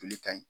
Joli ka ɲi